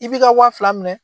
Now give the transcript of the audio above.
I b'i ka wa fila minɛ.